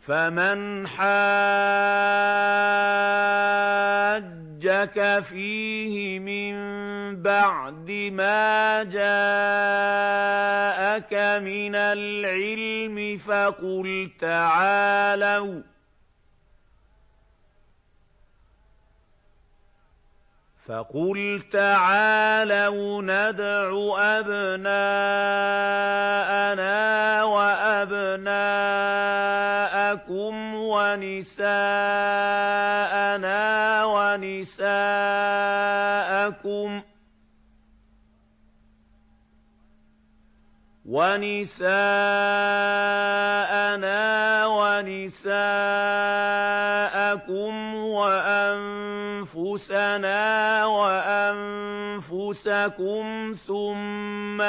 فَمَنْ حَاجَّكَ فِيهِ مِن بَعْدِ مَا جَاءَكَ مِنَ الْعِلْمِ فَقُلْ تَعَالَوْا نَدْعُ أَبْنَاءَنَا وَأَبْنَاءَكُمْ وَنِسَاءَنَا وَنِسَاءَكُمْ وَأَنفُسَنَا وَأَنفُسَكُمْ ثُمَّ